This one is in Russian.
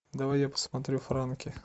давай я посмотрю франки